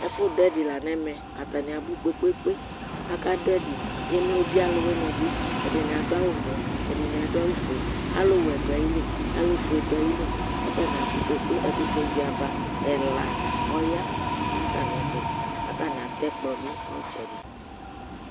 ɛƒʊɗʊɛɗɩ lanɛmɛ ƙatanɩaɓʊ ƙpeƙpe aƙaɗʊ ɛɗɩ emloɓɩ ɔlʊlʊwɩnɩɓɩ ɛɗɩnɩaɗʊ awʊ ɔʋɛ ɛɗɩnɩaɗʊ awʊ oƒʊe alʊwɛnɩ ɗʊ atamɩlɩ alʊ ɔƒʊenɩɓɩɗʊ atamɩlɩ laƙʊ atanɩaɓʊ ƙpe ƙpe ɛƙʊtɛ ʋɩaʋa ɛla ɔya nʊ atamɩɛtʊ atanɩatɛ ɛƙplɔɓɩ nʊ ɩtsɛɗɩ